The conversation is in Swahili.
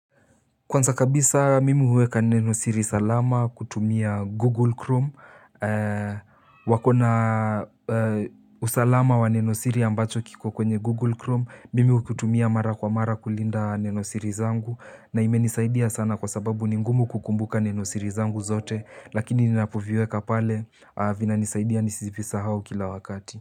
Kwanza kabisa mimi huweka nenosiri salama kutumia Google Chrome. Wakona usalama wa nenosiri ambacho kiko kwenye Google Chrome. Mimi kutumia mara kwa mara kulinda nenosiri zangu. Na imeni saidia sana kwa sababu ningumu kukumbuka nenosiri zangu zote. Lakini ninapuviweka pale, avina nisaidia nisivisa hao kila wakati.